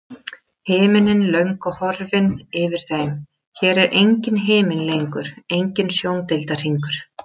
Himinninn löngu horfinn yfir þeim, hér er enginn himinn lengur, enginn sjóndeildarhringur.